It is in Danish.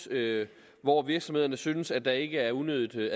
hvor virksomhederne synes at der ikke er unødigt